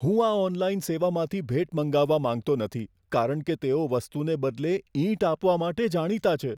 હું આ ઑનલાઇન સેવામાંથી ભેટ મંગાવવા માંગતો નથી કારણ કે તેઓ વસ્તુને બદલે ઈંટ આપવા માટે જાણીતા છે.